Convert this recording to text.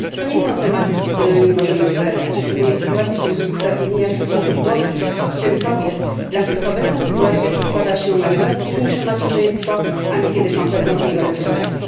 To nie są tematy, z którymi możemy zwlekać, szczególnie w sytuacji kryzysu zatrudnienia wśród osób młodych, w tym kobiet, dla których obecna sytuacja przedkłada się na coraz późniejsze macierzyństwo, a niekiedy kompletną z niego rezygnację.